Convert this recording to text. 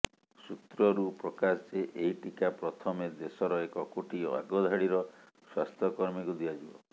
ସୂତ୍ରରୁ ପ୍ରକାଶ ଯେ ଏହି ଟିକା ପ୍ରଥମେ ଦେଶର ଏକ କୋଟି ଆଗଧାଡିର ସ୍ୱାସ୍ଥ୍ୟ କର୍ମୀଙ୍କୁ ଦିଆଯିବ